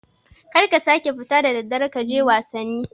kar ka kara fita da daddare wai kaje wasanni